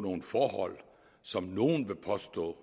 nogle forhold som nogle vil påstå